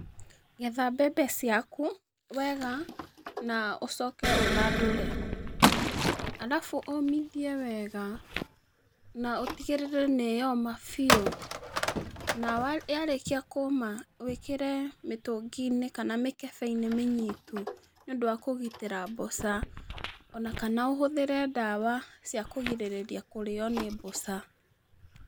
Getha mbembe ciakũ wega na ũcoke ũthandũre, arabu ũũmĩthie wega na ũtigĩrĩre nĩ yoma bĩu, na yarĩkia kũũma wĩkĩre mĩtũngĩ-ĩnĩ, kana mĩkebe-ĩnĩ mĩnyitu, nĩũndũ wa kũgĩtĩra mbũca, ona kana ũhũthĩre ndawa cia kũgirĩrĩria kũrĩo nĩ mbũca.